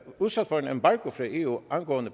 udsat for en embargo fra eu angående